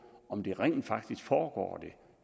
om det rent faktisk foregår